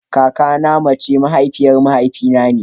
Kakana na mace mahaifiyar mahaifi na ne.